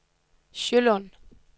Sjølund